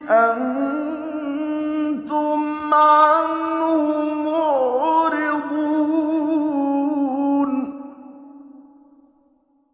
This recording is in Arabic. أَنتُمْ عَنْهُ مُعْرِضُونَ